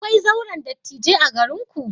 Akwai zauren dattijai a garinku?